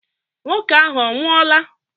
Nwoke ahụ ọ nwụola?